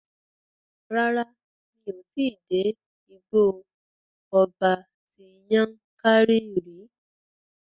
Rárá, mi ò tí dé Igbó ọba ti Yankari rí.